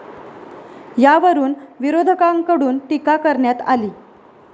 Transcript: यावरून विरोधकांकडून टीका करण्यात आली.